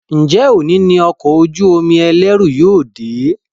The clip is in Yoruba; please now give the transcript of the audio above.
Njé òní ní Ọkọ̀ ojú-omi ẹlẹru yóò dé?